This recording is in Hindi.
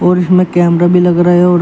रूफ में कैमरा भी लग रहा है और--